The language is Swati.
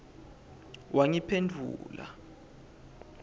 wangiphendvula